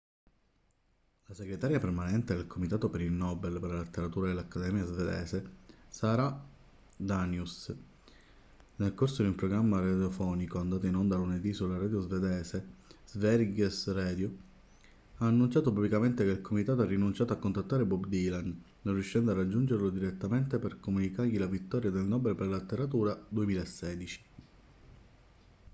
la segretaria permanente del comitato per il nobel per la letteratura dell'accademia svedese sara danius nel corso di un programma radiofonico andato in onda lunedì sulla radio svedese sveriges radio ha annunciato pubblicamente che il comitato ha rinunciato a contattare bob dylan non riuscendo a raggiungerlo direttamente per comunicargli la vittoria del nobel per la letteratura 2016